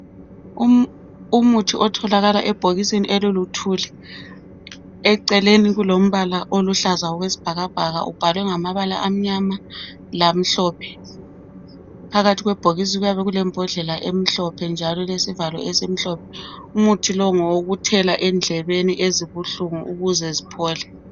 Umuthi otholakala ebhokisini eliluthuli. Eceleni kulombala oluhlaza okwesibhakabhaka ubhalwe ngamabala amnyama lamhlophe. Phakathi kwebhokisi kuyabe kulembodlela emhlophe njalo elesivalo esimhlophe. Umuthi lowu ngowokuthela endlebeni ezibuhlungu ukuze ziphole.